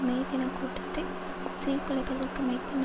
மே தினக்கூட்டத்தை சீர்குலைப்பதற்கு மேற்கொண்ட